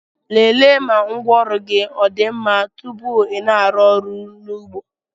lelee ma ngwaọrụ gị ọ dị mma tupu ị na-arụ ọrụ n'ugbo